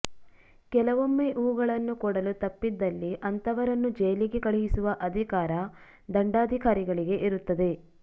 ಕೆಲವೊಮ್ಮೆ ಇವುಗಳನ್ನು ಕೊಡಲು ತಪ್ಪಿದಲ್ಲಿ ಅಂತವರನ್ನು ಜೈಲಿಗೆ ಕಳುಹಿಸುವ ಅಧಿಕಾರ ದಂಡಾಧಿಕಾರಿಗಳಿಗೆ ಇರುತ್ತದೆ